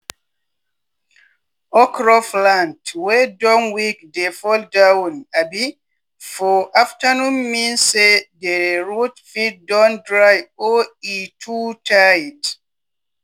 okro plant wey don weak dey fall down um for afternoon mean say dere root fit don dry or e too tight.